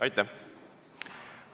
Aitäh!